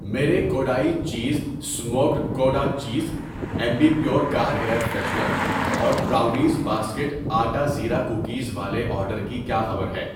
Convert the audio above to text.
میرے Kodai cheese smoked gouda cheese, Ambi Pur car air freshener اور brownies basket آٹا زیرا کوکیز والے آرڈر کی کیا خبر ہے؟